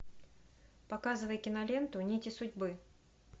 показывай киноленту нити судьбы